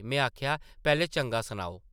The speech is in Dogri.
में आखेआ, ‘‘पैह्लें चंगा सनाओ ।’’